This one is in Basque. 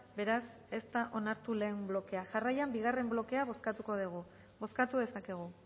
beraz ez da onartu lehen blokea jarraian bigarren blokea bozkatuko dugu bozkatu dezakegu